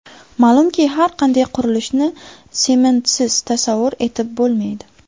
Ma’lumki, har qanday qurilishni sementsiz tasavvur etib bo‘lmaydi.